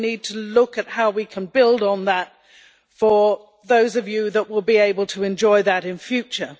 We need to look at how we can build on that for those who will be able to enjoy that in future.